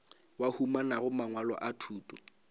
ba humanago mangwalo a thuto